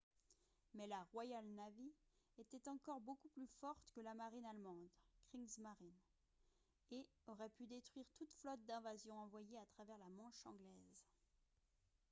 mais la royal navy était encore beaucoup plus forte que la marine allemande « kriegsmarine » et aurait pu détruire toute flotte d'invasion envoyée à travers la manche anglaise